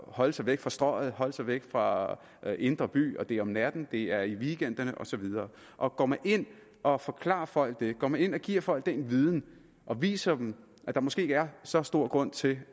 holde sig væk fra strøget holde sig væk fra indre by og det er om natten og det er i weekenderne og så videre og går man ind og forklarer folk det går man ind og giver folk den viden og viser dem at der måske ikke er så stor grund til